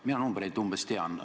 Mina neid numbreid umbes tean.